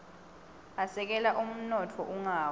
asekela umnotfo ungawi